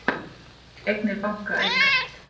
Eignir banka aukast